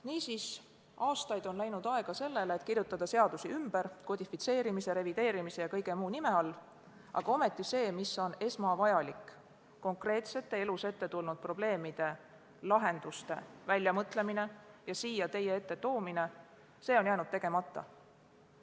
Niisiis, aastaid on läinud aega sellele, et kirjutada seadusi ümber kodifitseerimise, revideerimise ja kõige muu nime all, aga see, mis on esmavajalik – konkreetsetele elus ette tulnud probleemidele lahenduste väljamõtlemine ja siia teie ette toomine –, on jäänud tegemata.